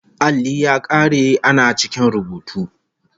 Alli ya kare ana cikin rubutu